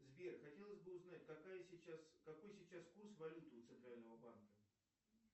сбер хотелось бы узнать какой сейчас курс валют у центрального банка